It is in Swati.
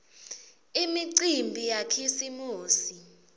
imicimbi yakhisimusi